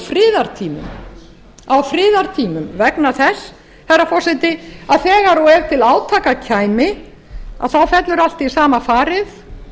friðartímum á friðartímum vegna þess herra forseti að þegar og ef til átaka kæmi þá fellur allt í búa farið